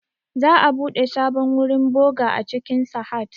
Za'a buɗe sabon wurin boğa a cikin Sahad